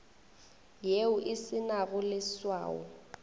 yeo e se nago leswao